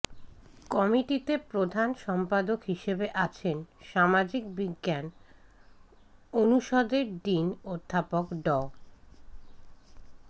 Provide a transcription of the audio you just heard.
কমিটিতে প্রধান সম্পাদক হিসেবে আছেন সামাজিক বিজ্ঞান অনুষদের ডিন অধ্যাপক ড